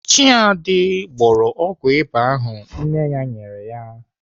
Chiadi gbọrọ ọgwụ ịba ahụ nne ya nyere ya.